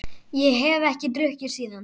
Ég hef ekki drukkið síðan.